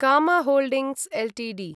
कामा holdings Ltd